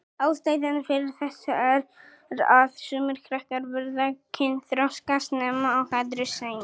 Ástæðan fyrir þessu er að sumir krakkar verða kynþroska snemma og aðrir seinna.